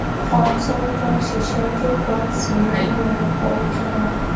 kan tí wón jọ ń ṣiṣé jókòó tì í nínú ọkò ojú irin